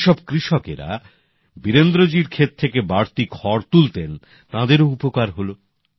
যে সব কৃষকেরা বীরেন্দ্রজীর ক্ষেত থেকে বাড়তি খড় তুলতেন তাঁদেরও উপকার হলো